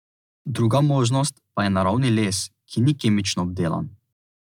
Druga možnost pa je naravni les, ki ni kemično obdelan.